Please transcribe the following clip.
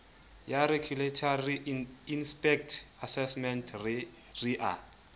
ya regulatory inpact assessment ria